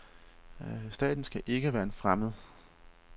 Staten skal ikke være en fremmed.